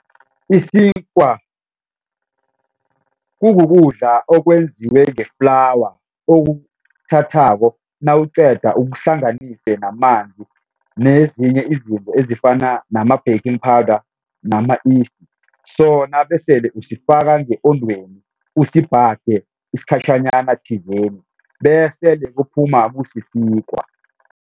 Isikwa kukukudla okwenziwe nge-flour okuthathako nawuqeda ukuhlanganise namanzi nezinye izinto ezifana nama-banking powder nama-yeast so nabesele usifaka nge-ondweni usibhage isikhatjhanyana thizeni bese kuphuma kusisinkwa.